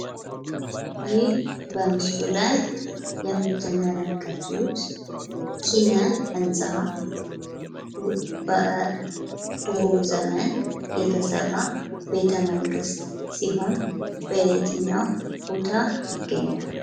ይህ በምስሉ ላይ የምትመለከቱት ኪነህንጻ በድሮ ዘመን የተሰራ ቤተመንግሥት ሲሆን በየትኛው ቦታ ይገኛል?